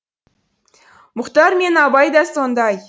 мұхтар мен абай да сондай